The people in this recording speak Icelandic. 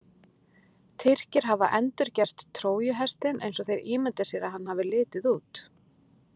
Tyrkir hafa endurgert Trójuhestinn eins og þeir ímynda sér að hann hafi litið út.